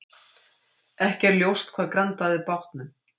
Ekki er ljóst hvað grandaði bátnum